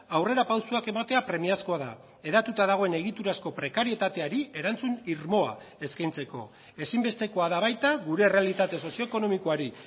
aurrerapausoak ematea premiazkoa da hedatuta dagoen egiturazko prekarietateari erantzun irmoa eskaintzeko ezinbestekoa da baita gure errealitate sozio ekonomikoari